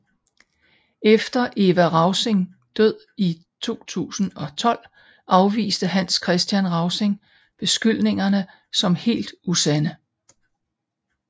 Efter Eva Rausing død i 2012 afviste Hans Kristian Rausing beskyldningerne som helt usande